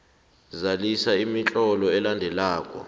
zalisa imitlolo elandelako